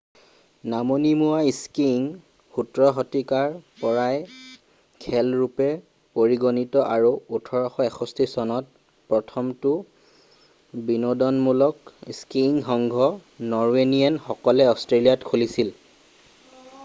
নামনিমুৱা skiing 17 শতিকাৰ পৰাই খেল ৰূপে পৰিগণিত আৰু 1861চনত প্ৰথমটো বিনোদনমূলক স্কিইং সংঘ নৰৱেনিয়ান সকলে অষ্ট্ৰেলিয়াত খুলিছিল